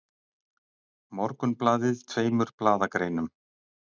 Morgunblaðið tveimur blaðagreinum